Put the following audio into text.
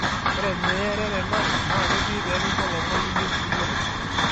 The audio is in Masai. ORe niiye reren ang' naketii peeekincho lomon niyieu niyiolou.